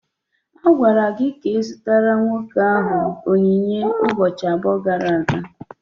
A gwara gị ka ị zụtara nwoke ahụ onyinye ụbọchị abụọ gara aga.